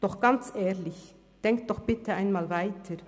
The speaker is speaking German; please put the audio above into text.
Doch ganz ehrlich, denken Sie doch bitte einmal weiter!